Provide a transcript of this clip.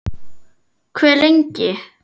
Hve lengi?